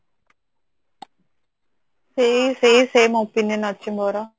ସେଇ ସେଇ same opinion ଅଛି ମୋର